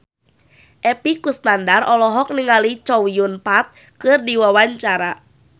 Epy Kusnandar olohok ningali Chow Yun Fat keur diwawancara